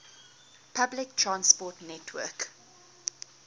public transport network